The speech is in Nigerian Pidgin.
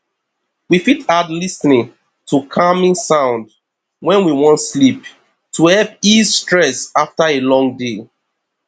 we fit add lis ten ing to calming sound when we wan sleep to help ease stress after a long day